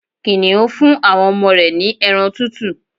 Kìnìún fún àwọn ọmọ rẹ̀ ní ẹran tútù